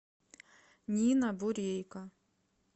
нина бурейко